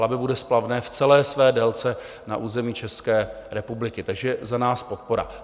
Labe bude splavné v celé své délce na území České republiky, takže za nás podpora.